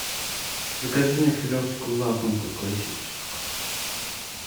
закажи мне филевскую лакомку классическую